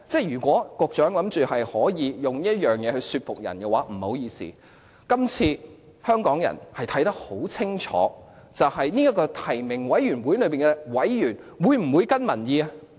如果局長想以此說服人的話，不好意思，今次香港人看得很清楚，究竟這個提名委員會內的委員會否跟隨民意？